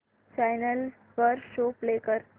channel वर show play कर